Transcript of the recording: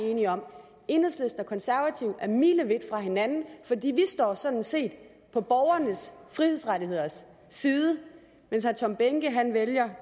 enige om enhedslisten og konservative er milevidt fra hinanden for vi står sådan set på borgernes frihedsrettigheders side mens herre tom behnke vælger